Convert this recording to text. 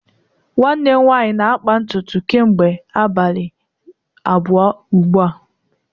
nwanne m nwanyi na-akpa ntutu kemgbe abalii abuo ugbua